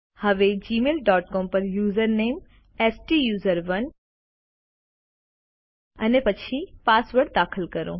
હવે Gmail dot com પર user name સ્ટુસરોને અને પછી પાસવર્ડ દાખલ કરો